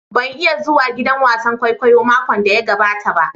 Ban iya zuwa giɗan wasan ƙwaiƙwayo maƙon da ya gaɓata ba